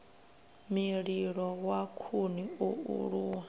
mililo wa khuni o aluwa